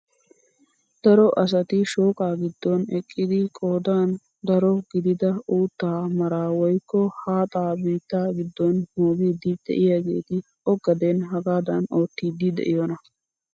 Daro asati shooqaa giddon eqqidi qoodan daro gidida uuttaa mara woykko haaxaa biittaa giddo moogiidi de'iyaageti o gaden hagaadan oottiidi de'iyoonaa?